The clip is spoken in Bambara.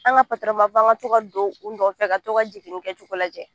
An ka an ka to ka don u nɔfɛ ka to ka jiginni lajɛ